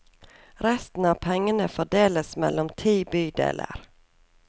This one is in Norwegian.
Resten av pengene fordeles mellom ti bydeler.